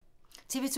TV 2